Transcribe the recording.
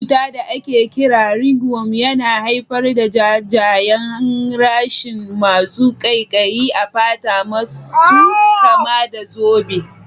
Wani cutar da ake kira ringworm yana haifar da jajayen rashes masu ƙaiƙayi a fata masu kama da zobba.